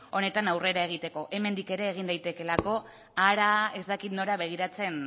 honetan aurrera egiteko hemendik ere egin daitekeelako hara ez dakit nora begiratzen